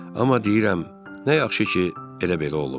Amma deyirəm, nə yaxşı ki, elə belə olub.